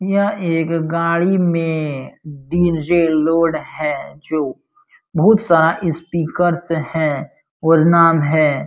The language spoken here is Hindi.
यहाँ एक गाड़ी में डी_जे लोड है जो बोहोत सारा स्पीकर्स है और नाम है --